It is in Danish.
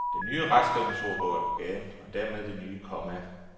Den nye retskrivningsordbog er på gaden, og dermed det nye komma.